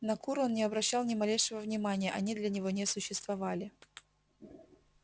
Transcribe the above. на кур он не обращал ни малейшего внимания они для него не существовали